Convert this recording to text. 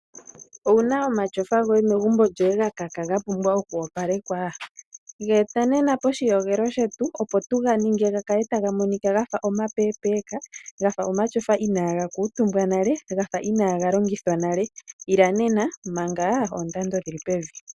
Owuna omatyofa goye megumbo, ga kaka, ga pumbwa oku opalekwa? Ga e ta nena poshiyogelo shetu, opo tu ga ninge ga kale taga monika gafa omapeepeeka, gafa omatyofa inaaga kuutumbwa nale, gafa inaaga longithwa nale. Ila nena, manga oondando dhili pevi.